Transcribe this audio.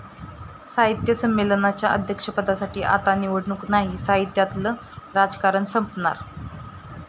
साहित्य संमेलनाच्या अध्यक्षपदासाठी आता निवडणूक नाही! साहित्यातलं राजकारण संपणार?